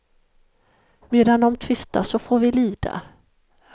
Medan de tvistar så får vi lida.